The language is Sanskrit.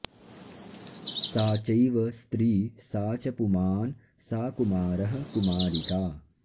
सा चैव स्त्री सा च पुमान् सा कुमारः कुमारिका